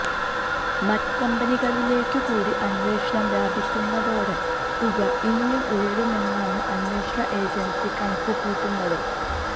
മറ്റു കമ്പനികളിലേക്കുകൂടി അന്വേഷണം വ്യാപിക്കുന്നതോടെ തുക ഇനിയും ഉയരുമെന്നാണ് അന്വേഷണ ഏജന്സി കണക്കുകൂട്ടുന്നത്